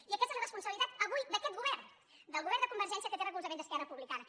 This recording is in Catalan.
i aquesta és la responsabilitat avui d’aquest govern del govern de convergència que té recolzament d’esquerra republicana